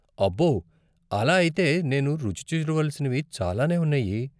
అబ్బో, అలా అయితే నేను రుచి చూడవలసినవి చాలానే ఉన్నాయి.